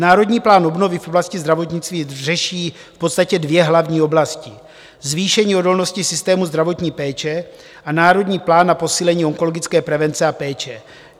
Národní plán obnovy v oblasti zdravotnictví řeší v podstatě dvě hlavní oblasti: zvýšení odolnosti systému zdravotní péče a národní plán na posílení onkologické prevence a péče.